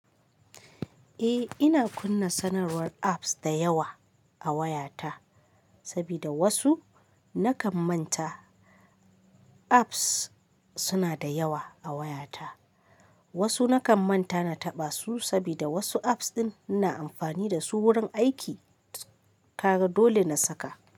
Eh ina kunna sanarwar apps da yawa a wayata, sabida wasu nakan manta apps suna da yawa a wayata. Wasu nakan manta na taɓa su sabida wasu apps ɗin ina amfani da su wurin aiki. Ka ga dole na saka.